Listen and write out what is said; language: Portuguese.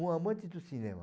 Um amante do cinema.